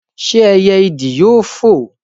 ṣé ẹyẹ ìdì yóò foò?